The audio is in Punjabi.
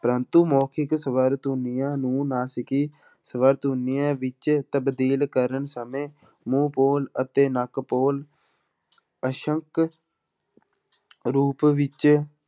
ਪ੍ਰੰਤੂ ਮੋਖਿਕ ਸਵਰ ਧੁਨੀਆਂ ਨੂੰ ਨਾਸਿਕੀ ਸਵਰ ਧੁਨੀਆਂ ਵਿੱਚ ਤਬਦੀਲ ਕਰਨ ਸਮੇਂ ਮੂੰਹ ਪੋਲ ਅਤੇ ਨੱਕ ਪੋਲ ਅਸ਼ੱਕ ਰੂਪ ਵਿੱਚ